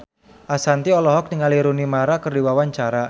Ashanti olohok ningali Rooney Mara keur diwawancara